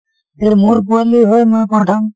যে মোৰ পোৱালী হয় মই পঠাম